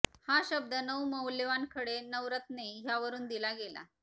हा शब्द नऊ मौल्यवान खडे नवरत्ने ह्यावरून दिला गेला